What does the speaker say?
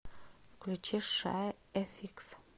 включи шай эфикс